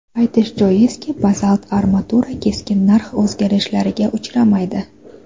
Aytish joizki, bazalt armatura keskin narx o‘zgarishlariga uchramaydi.